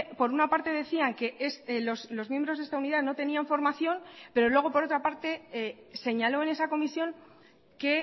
por una parte decían que los miembros de esta unidad no tenían formación pero luego por otra parte señaló en esa comisión que